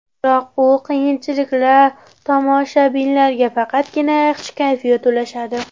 Biroq bu qiyinchiliklar tomoshabinlarga faqatgina yaxshi kayfiyat ulashadi.